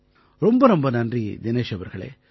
ரொம்ப ரொம்ப நன்றி தினேஷ் அவர்களே